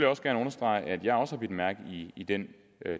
også gerne understrege at jeg også har bidt mærke i den